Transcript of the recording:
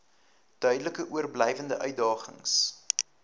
duidelik oorblywende uitdagings